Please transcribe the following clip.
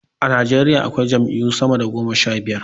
A Nijeriya akwai jam'iyyu sama da goma sha biyar.